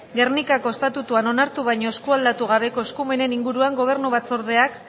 gernikako estatutuan onartu baina eskualdatu gabeko eskumenen inguruan gobernu batzordeak